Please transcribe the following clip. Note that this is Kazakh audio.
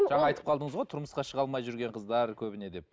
жаңа айтып қалдыңыз ғой тұрмысқа шыға алмай жүрген қыздар көбіне деп